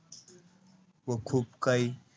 व खूप काही,